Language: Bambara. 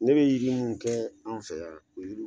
Ne be yiri mi kɛ an fɛ yan o yiriw